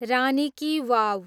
रानी ki वाव